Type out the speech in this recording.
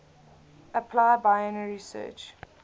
apply binary search